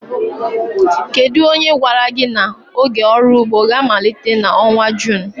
Kedu onye gwara gị na oge ọrụ ugbo ga-amalite n'ọnwa June?